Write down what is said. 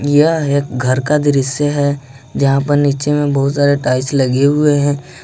यह एक घर का दृश्य है यहां पर नीचे में बहुत सारे टाइल्स लगे हुए हैं।